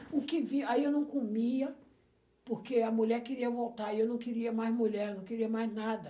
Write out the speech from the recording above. O que vinha, aí eu não comia, porque a mulher queria voltar, e eu não queria mais mulher, não queria mais nada.